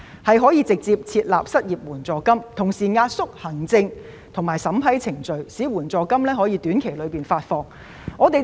請政府直接設立失業援助金，並壓縮行政及審批程序，務求在短期內發放援助金。